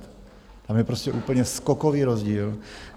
Tam je prostě úplně skokový rozdíl.